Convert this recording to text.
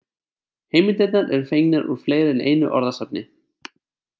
Heimildirnar eru fengnar úr fleiri en einu orðasafni.